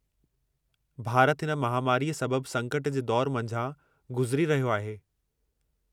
भारत हिन महामारीअ सबब संकट जे दौरु मंझां गुज़री रहियो आहे।